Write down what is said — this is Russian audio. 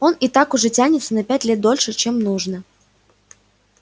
он и так уже тянется на пять лет дольше чем нужно